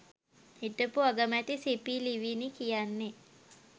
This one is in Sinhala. හිටපු අගමැති සිපි ලිවිනි කියන්නේ